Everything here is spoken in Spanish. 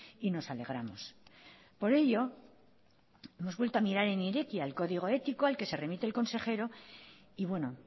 y nos alegramos por ello hemos vuelto a mirar en irekia el código ético al que se remite el consejero y bueno